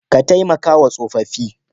Ka taimakawa tsofaffi.